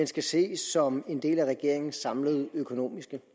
skal ses som en del af regeringens samlede økonomiske